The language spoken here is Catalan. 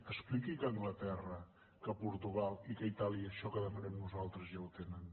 expliqui que a anglaterra que a portugal i que a itàlia això que demanem nosaltres ja ho tenen